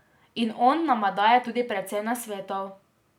In on nama daje tudi precej nasvetov.